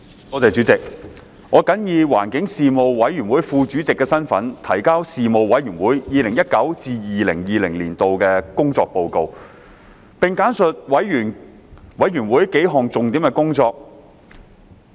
我謹以環境事務委員會副主席的身份，提交事務委員會 2019-2020 年度的工作報告，並簡述事務委員會數項重點工作。